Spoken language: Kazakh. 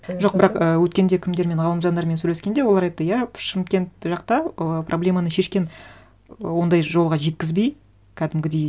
жоқ бірақ і өткенде кімдермен ғалымжандармен сөйлескенде олар айтты иә шымкент жақта ы проблеманы шешкен ондай жолға жеткізбей кәдімгідей